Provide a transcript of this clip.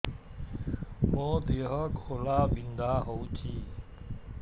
ମୋ ଦେହ ଘୋଳାବିନ୍ଧା ହେଉଛି